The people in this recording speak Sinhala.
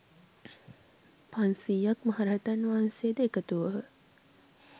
පන්සියයක් මහ රහතන් වහන්සේ ද එකතු වූහ.